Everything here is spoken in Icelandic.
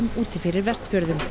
úti fyrir Vestfjörðum